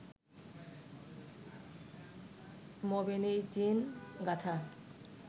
মোবিনিজিন গাথা